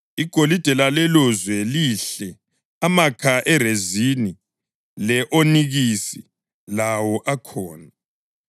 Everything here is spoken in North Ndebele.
(Igolide lalelolizwe lihle; amakha erezini le-onikisi lawo akhona.)